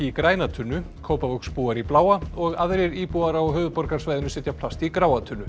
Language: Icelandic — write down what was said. í græna tunnu Kópavogsbúar í bláa og aðrir íbúar á höfuðborgarsvæðinu setja plast í gráa tunnu